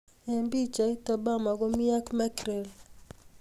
Ing pichait: Obama komi ak Mekrel.